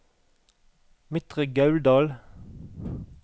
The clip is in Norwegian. Midtre Gauldal